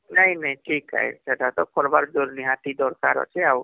ନାଇଁ ନାଇଁ ଠିକ ହୈ ସେଟା ତା କରିବାରହମ୍ଦରକାର ଅଛି ଆଉ